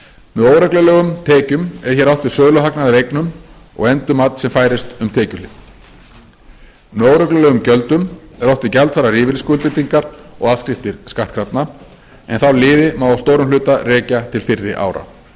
með óreglulegum tekjum er hér átt við söluhagnað af eignum og endurmat sem færist um tekjuhlið með óreglulegum gjöldum er átt við gjaldfærðar lífeyrisskuldbindingar og afskriftir skattkrafna en þá liði má að stórum hluta rekja til fyrri ára